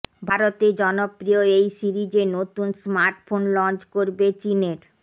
ভারতে জনপ্রিয় এই সিরিজে নতুন স্মার্টফোন লঞ্চ করবে চিনের